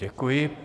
Děkuji.